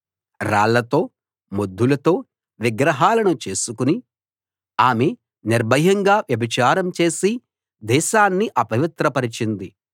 రాళ్ళతో మొద్దులతో విగ్రహాలను చేసుకుని ఆమె నిర్భయంగా వ్యభిచారం చేసి దేశాన్ని అపవిత్రపరచింది